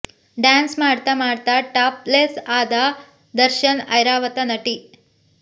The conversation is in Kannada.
ಡ್ಯಾನ್ಸ್ ಮಾಡ್ತಾ ಮಾಡ್ತಾ ಟಾಪ್ ಲೆಸ್ ಆದ ದರ್ಶನ್ ಐರಾವತ ನಟಿ